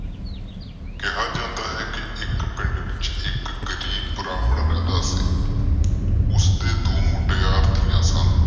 ਕਿਹਾ ਜਾਂਦਾ ਹ ਕਿ ਇਕ ਪਿੰਡ ਵਿਚ ਇਕ ਗਰੀਬ ਬ੍ਰਾਹਮਣ ਰਹਿੰਦਾ ਸੀ ਉਸ ਦੇ ਦੋ ਮੁਟਿਆਰ ਧਿਆ ਸਨ।